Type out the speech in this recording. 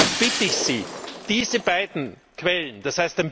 Daher bitte ich Sie, diese beiden Quellen